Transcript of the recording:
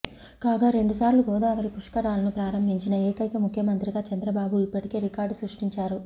కాగా రెండుసార్లు గోదావరి పుష్కరాలను ప్రారంభించిన ఏకైక ముఖ్యమంత్రిగా చంద్రబాబు ఇప్పటికే రికార్డు సృష్టించారు